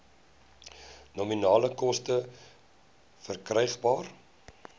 nominale koste verkrygbaar